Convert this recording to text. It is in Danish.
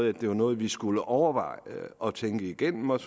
at det var noget vi skulle overveje og tænke igennem og